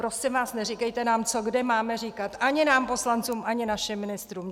Prosím vás, neříkejte nám, co kde máme říkat, ani nám poslancům, ani našim ministrům.